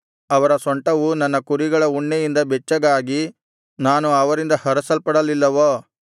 ಅವರ ಸೊಂಟವು ನನ್ನ ಕುರಿಗಳ ಉಣ್ಣೆಯಿಂದ ಬೆಚ್ಚಗಾಗಿ ನಾನು ಅವರಿಂದ ಹರಸಲ್ಪಡಲಿಲ್ಲವೋ